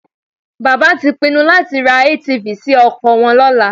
Bàbá tí pinnu láti ra ATV sí oko wọn lọ́la